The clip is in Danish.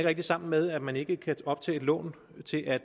rigtig sammen med at man ikke kan optage et lån til at